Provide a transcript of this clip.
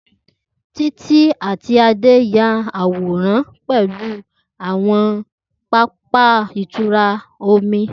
Titi ati Ade ya aworan pẹlu wa ni awọn papa itura omi.